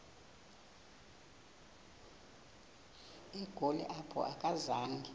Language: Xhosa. egoli apho akazanga